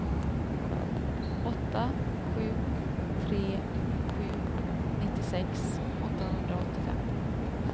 åtta sju tre sju nittiosex åttahundraåttiofem